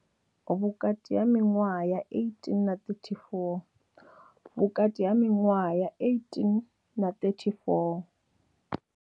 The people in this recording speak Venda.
Vhukati ha miṅwaha ya 18 na 34. Vhukati ha miṅwaha ya 18 na 34.